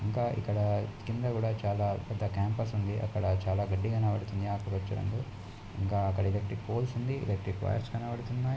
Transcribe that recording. ఇంకా ఇక్కడ కింద కూడా చాలా పెద్ద క్యాంపస్ ఉంది అక్కడ చాలా గడ్డి కనబడుతుందిఆకుపచ్చ రంగు ఇంకా అక్కడ ఎలక్ట్రిక్ పోల్స్ ఉంది ఎలక్ట్రిక్ వైర్స్ కనబడుతున్నాయి.